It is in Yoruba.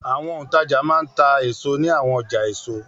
Àwọn òǹtajà máa ń ta èso ní àwọn ọjà èso.